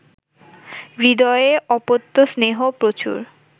হৃদয়ে অপত্যস্নেহও প্রচুর